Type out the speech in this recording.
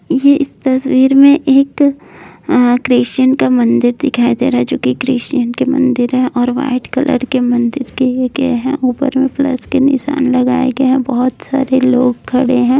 यह इस तस्वीर में एक क्रिश्चियन का मंदिर दिखाई दे रहा है जोकि क्रिश्चियन के मंदिर है और वाइट कलर के मंदिर ऊपर में प्लस के निशान लगाए गए है। बहुत सारे लोग खड़े हैं।